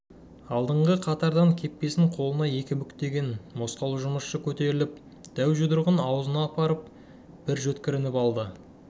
алдыңғы қатардан кепкесін қолына екі бүктеген мосқал жұмысшы көтеріліп дәу жұдырығын аузына апарып бір жөткірініп алды